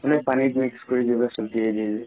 মানে পানিত mix কৰি চতিয়া দিয়ে যে